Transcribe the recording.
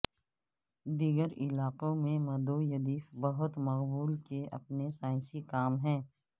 دیگر علاقوں میں مدویدیف بہت مقبول کے اپنے سائنسی کام ہے